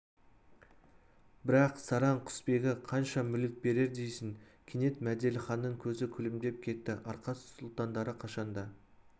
бірақ сараң құсбегі қанша мүлік берер дейсің кенет мәделіханның көзі күлімдеп кетті арқа сұлтандары қашан да